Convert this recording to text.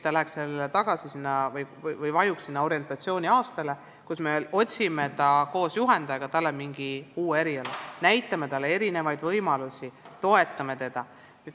Ehk tal oleks orientatsiooniaasta, kui koos juhendajaga talle otsitakse mingi uus eriala, näidatakse erinevaid võimalusi, toetatakse teda.